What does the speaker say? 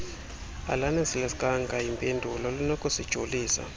alanelisekanga yimpendulo linokusijolisa